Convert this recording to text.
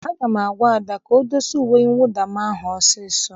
Aga m agwa Ada ka o dosa uwe mwụda m ahụ ọsọ ọsọ!